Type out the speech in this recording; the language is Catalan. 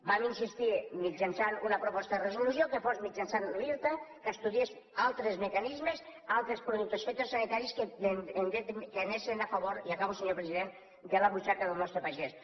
vam insistir mitjançant una proposta de resolució que fos mitjançant l’irta que estudiés altres mecanismes altres productes fitosanitaris que anessen a favor i acabo senyor president de la butxaca del nostre pagès